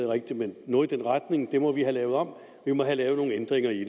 rigtigt men noget i den retning og at det må vi have lavet om og have lavet nogle ændringer i